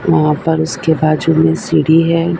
वहां पर उसके बाजू में सीढ़ी हैं।